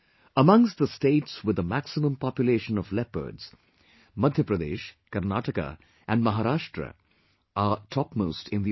Amongst the states with the maximum population of leopards Madhya Pradesh, Karnataka and Maharashtra are topmost in the order